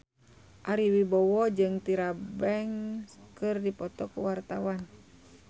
Ari Wibowo jeung Tyra Banks keur dipoto ku wartawan